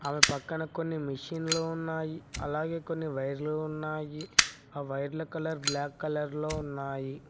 అవి పక్కన కొన్ని మిషిన్లు ఉన్నాయి అలాగే కొన్ని వైర్లు ఉన్నాయి ఆ వైర్ల కలర్ బ్లాక్ కలర్ లో ఉన్నాయి.